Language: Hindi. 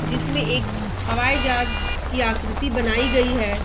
जिसमें एक हवाई जहाज की आकृति बनाई गई है।